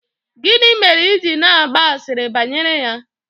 gini mere i ji na-agba asịrị bayere ya?